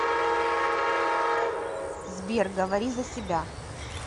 сбер говори за себя